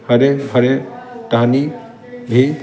हरी -भरी तानी भी--